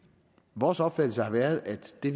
vores opfattelse har været at det